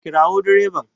Kirawo min direban!